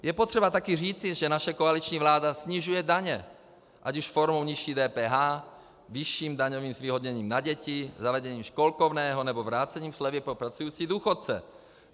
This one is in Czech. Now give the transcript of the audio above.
Je potřeba také říci, že naše koaliční vláda snižuje daně, ať už formou nižší DPH, vyšším daňovým zvýhodněním na děti, zavedením školkovného, nebo vrácením slevy pro pracující důchodce.